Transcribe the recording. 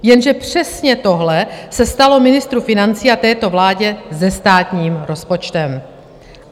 Jenže přesně tohle se stalo ministru financí a této vládě se státním rozpočtem.